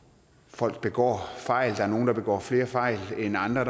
folk begår fejl og der er nogle der begår flere fejl end andre og